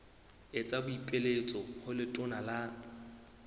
etsa boipiletso ho letona la